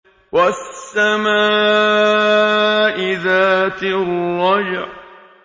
وَالسَّمَاءِ ذَاتِ الرَّجْعِ